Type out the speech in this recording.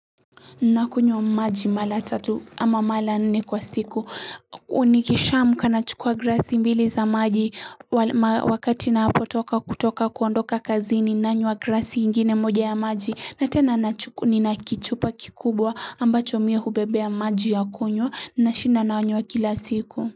Nakunywa maji mara tatu ama mara nne kwa siku nikisha amka nachukua glasi mbili za maji wakati ninapo toka kutoka kuondoka kazini nanywa glasi ingine moja ya maji na tena nina kichupa kikubwa ambacho mimi hubebea maji ya kunywa na shinda nanywa kila siku.